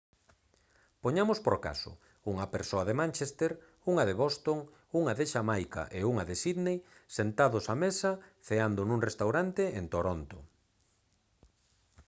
poñamos por caso unha persoa de manchester unha de boston unha de xamaica e unha de sydney sentados á mesa ceando nun restaurante en toronto